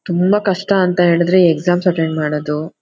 ತುಂಬಾ ಕಷ್ಟ ಅಂತ ಹೇಳಿದ್ರೆ ಈ ಎಕ್ಸಾಮ್ ಅಟೆಂಡ್ ಮಾಡದು .